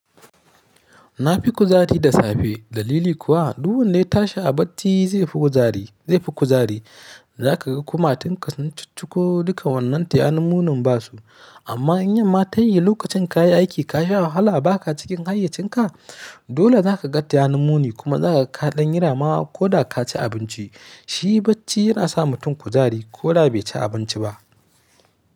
Na fi kuzari da safe. Dalili kuwa, duk wanda ya ta shi a bacci zai fi kuzari zai fi kuzari. Za ka ga kuma tun ka sun chicciko duka wannan tayani munin basu. Amma in yamma tayi lokacin ka yi aiki ka sha wahala ba ka cikin hayyacinka dole zaka ga tayani muni kuma zakaga kaɗan yi rama ko da ka ci abinci. Shi bacci yana sa mutum kuzari ko da bai ci abinci ba.